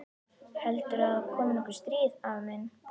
Heldurðu að komi nokkuð stríð, afi minn?